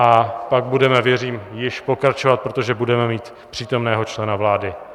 A pak budeme, věřím, již pokračovat, protože budeme mít přítomného člena vlády.